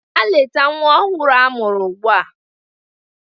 Gaa leta nwa ọhụrụ a mụrụ ugbu a!